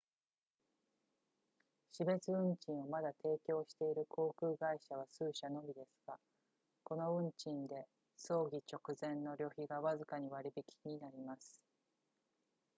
死別運賃をまだ提供している航空会社は数社のみですがこの運賃で葬儀直前の旅費がわずかに割り引きになります